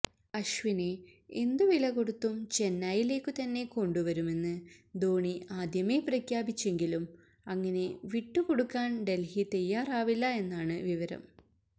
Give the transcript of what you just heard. അശ്വിനെ എന്തുവില കൊടുത്തും ചെന്നൈയിലേക്കു തന്നെ കൊണ്ടുവരുമെന്ന് ധോണി ആദ്യമേ പ്രഖ്യാപിച്ചെങ്കിലും അങ്ങനെ വിട്ടുകൊടുക്കാൻ ഡൽഹി തയാറാവില്ല എന്നാണ് വിവരം